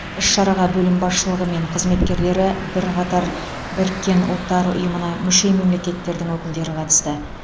іс шараға бөлім басшылығы мен қызметкерлері бірқатар біріккен ұлттар ұйымына мүше мемлекеттердің өкілдері қатысты